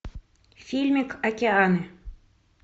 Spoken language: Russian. фильмик океан